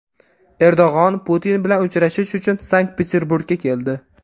Erdo‘g‘on Putin bilan uchrashish uchun Sankt-Peterburgga keldi .